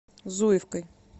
зуевкой